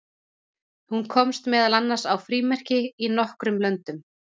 Hún komst meðal annars á frímerki í nokkrum löndum.